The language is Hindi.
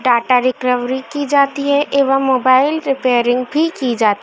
डाटा रिकवरी की जाती है एवं मोबाइल रिपेयरिंग भी की जा--